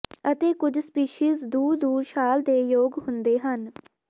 ਅਤੇ ਕੁਝ ਸਪੀਸੀਜ਼ ਦੂਰ ਦੂਰ ਛਾਲ ਦੇ ਯੋਗ ਹੁੰਦੇ ਹਨ